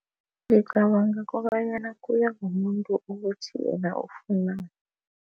Ngicabanga kobanyana kuya ngomuntu ukuthi yena ufunani.